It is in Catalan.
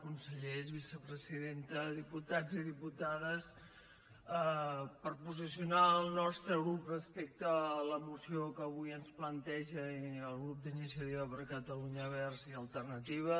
consellers vicepresidenta diputats i diputades per posicionar el nostre grup respecte a la moció que avui ens planteja el grup d’iniciativa per catalunya verds i alternativa